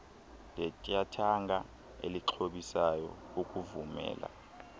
letyathanga elixhobisayo ukuvumela